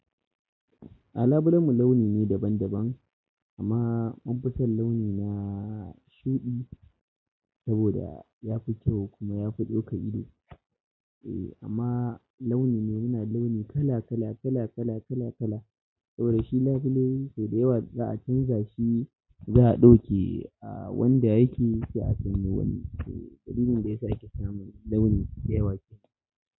A labulen mu launi ne daban daban amma mun fi son launi na shuɗi saboda yafi kyau kuma yafi ɗaukan ido. Eh amma launi ne muna launi kala kala kala kala kala kala. Saboda shi labule sau da yawa za a canza shi, za a ɗauke a wanda yake, sai a canza wani. Dalilin da yasa yake samun launi da yawa ke.